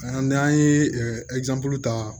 N'an ye ta